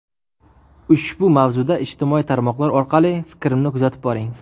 Ushbu mavzuda ijtimoiy tarmoqlar orqali fikrimni kuzatib boring.